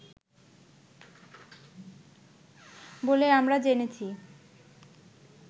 বলেই আমরা জেনেছি